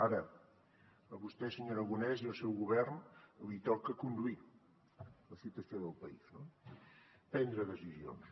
ara a vostè senyor aragonès i al seu govern els toca conduir la situació del país no prendre decisions